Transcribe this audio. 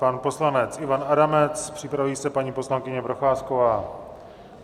Pan poslanec Ivan Adamec, připraví se paní poslankyně Procházková.